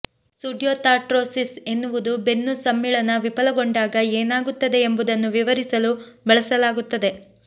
pseudarthrosis ಎನ್ನುವುದು ಬೆನ್ನು ಸಮ್ಮಿಳನ ವಿಫಲಗೊಂಡಾಗ ಏನಾಗುತ್ತದೆ ಎಂಬುದನ್ನು ವಿವರಿಸಲು ಬಳಸಲಾಗುತ್ತದೆ